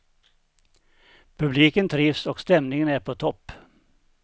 Publiken trivs och stämningen är på topp.